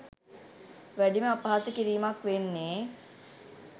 වැඩිම අපහාස කිරීමක් වෙන්නේ